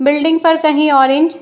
building पर कही orange --